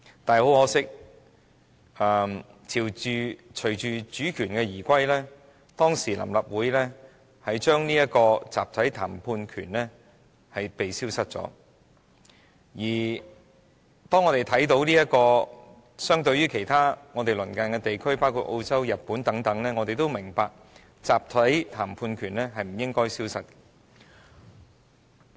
很可惜，隨着主權移歸，當時的臨時立法會令集體談判權消失了，而當我們與鄰近地區，包括澳洲、日本等比較時，我們也明白集體談判權是不應該消失的。